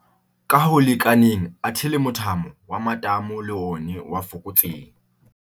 ka ho lekaneng athe le mothamo wa matamo le ona o a fokotseha.